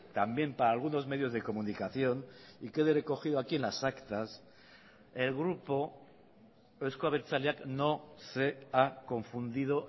también para algunos medios de comunicación y quede recogido aquí en las actas el grupo euzko abertzaleak no se ha confundido